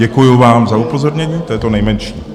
Děkuju vám za upozornění, to je to nejmenší.